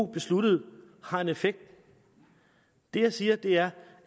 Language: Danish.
besluttede har en effekt det jeg siger er